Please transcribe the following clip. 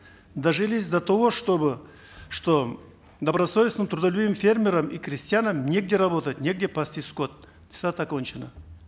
дожились до того чтобы что добросовестным трудолюбивым фермерам и крестьянам негде работать негде пасти скот цитата окончена